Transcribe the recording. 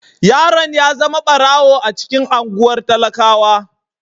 Yaron ya zama barawo a cikin anguwan talakawa.